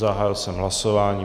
Zahájil jsem hlasování.